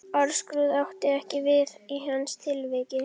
Orðskrúð átti ekki við í hans tilviki.